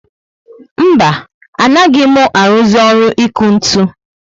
Mba, anaghị mụ aruzi ọrụ iku ntụ